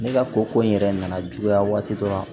Ne ka ko ko in yɛrɛ nana juguya waati dɔ la